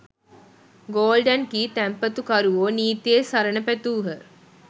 Golden key තැන්පතුකරුවෝ නීතියේ සරණ පැතූහ.